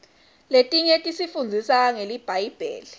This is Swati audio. litiny tisifundzisa ngelibhayibheli